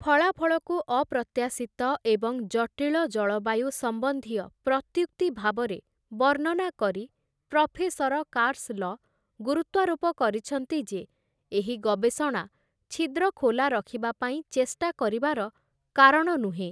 ଫଳାଫଳକୁ ଅପ୍ରତ୍ୟାଶିତ ଏବଂ ଜଟିଳ ଜଳବାୟୁ ସମ୍ବନ୍ଧୀୟ ପ୍ରତ୍ୟୁକ୍ତି ଭାବରେ ବର୍ଣ୍ଣନା କରି, ପ୍ରଫେସର କାର୍ସ୍‌ଲ, ଗୁରୁତ୍ୱାରୋପ କରିଛନ୍ତି ଯେ ଏହି ଗବେଷଣା ଛିଦ୍ର ଖୋଲା ରଖିବା ପାଇଁ ଚେଷ୍ଟା କରିବାର କାରଣ ନୁହେଁ ।